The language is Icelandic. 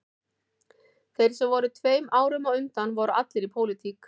Þeir sem voru tveim árum á undan voru allir í pólitík